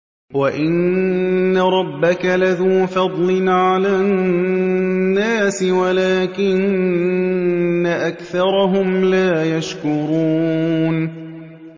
وَإِنَّ رَبَّكَ لَذُو فَضْلٍ عَلَى النَّاسِ وَلَٰكِنَّ أَكْثَرَهُمْ لَا يَشْكُرُونَ